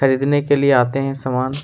खरीदने के लिए आते है सामान--